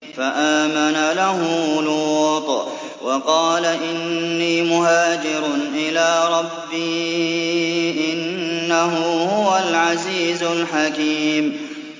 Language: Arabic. ۞ فَآمَنَ لَهُ لُوطٌ ۘ وَقَالَ إِنِّي مُهَاجِرٌ إِلَىٰ رَبِّي ۖ إِنَّهُ هُوَ الْعَزِيزُ الْحَكِيمُ